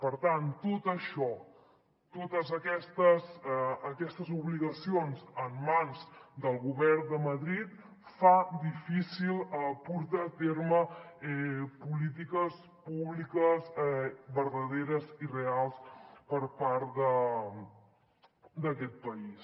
per tant tot això totes aquestes obligacions en mans del govern de madrid fan difícil portar a terme polítiques públiques verdaderes i reals per part d’aquest país